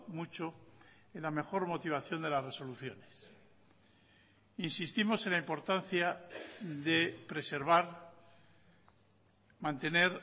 mucho en la mejor motivación de las resoluciones insistimos en la importancia de preservar mantener